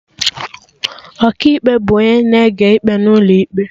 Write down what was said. Ọkaikpe bụ onye na-ege ikpe n'ụlọ ikpe